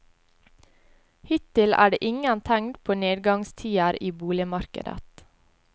Hittil er det ingen tegn til nedgangstider i boligmarkedet.